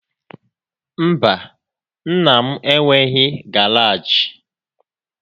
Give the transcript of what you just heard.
Mba, nna m enweghị garaajị.